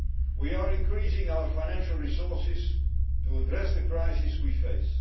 We are increasing our financial resources to address the crisis we face.